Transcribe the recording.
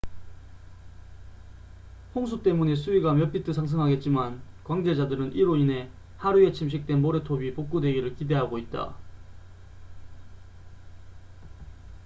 홍수때문에 수위가 몇 피트 상승하겠지만 관계자들은 이로 인해 하류에 침식된 모래톱이 복구되기를 기대하고 있다